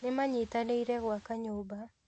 Nĩmanyitanĩire gwaka nyũmba